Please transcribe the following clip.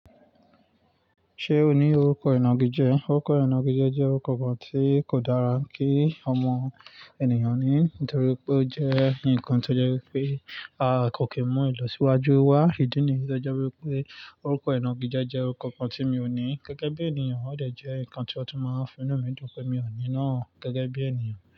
Ṣé o ní orúkọ ẹnà gíjẹ́? Orúkọ ẹnà gíjẹ́ jẹ́ orúkọ kan tí kò dára kí ọmọ ènìyàn ní, nítorí pé ó jẹ́ ǹkan tó jẹ́ wípé a kò kí mú ìlọsíwájú wá. Ìdí nìyí jẹ́ wípé orúkọ inà gíjẹ́ jẹ́ orúkọ kan tí mi ò ní gẹ́gẹ́ bí ènìyàn. Ó dè jẹ́ ǹkan tí wọ́n tó máa fi ná mí jọ pé mi ò ní náà gẹ́gẹ́ bí ènìyàn.